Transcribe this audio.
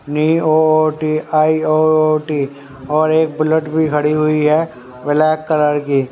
और एक बुलेट भी खड़ी हुई है ब्लैक कलर की--